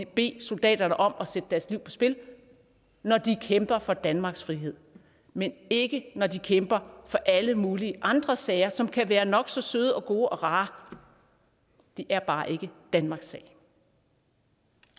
bede soldaterne om at sætte deres liv på spil når de kæmper for danmarks frihed men ikke når de kæmper for alle mulige andre sager som kan være nok så søde gode og rare det er bare ikke danmarks sag